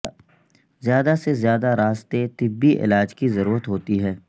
زیادہ سے زیادہ راستہ طبی علاج کی ضرورت ہوتی ہے